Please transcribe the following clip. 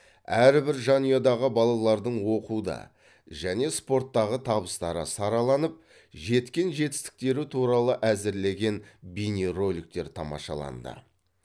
әрбір жанұядағы балалардың оқуда және спорттағы табыстары сараланып жеткен жетістіктері туралы әзірлеген бейнероликтер тамашаланды